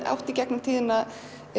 átt í gegnum tíðina